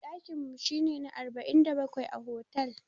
Daƙin mu shi ne na arba'in da bakwai a otal.